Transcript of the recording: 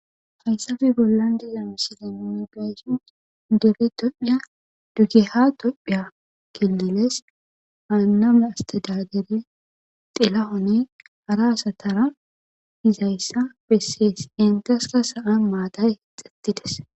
hayssafe bollan dizano silenoe gayshon dere tophiya dugeha tophiya killeles haaname asteda dere xelahone haraasatara hizayssa bessees entaska sa7an maatay hixettides